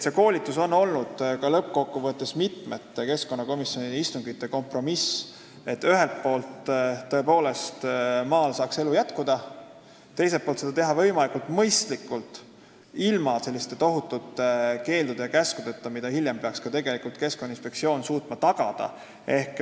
See koolituse variant on lõppkokkuvõttes keskkonnakomisjoni mitme istungi jooksul saavutatud kompromiss, et ühelt poolt saaks maal elu jätkuda, teiselt poolt aga tuleks seda teha võimalikult mõistlikult, ilma tohutute keeldude ja käskudeta, mille täitmist peaks Keskkonnainspektsioon hiljem suutma tagada.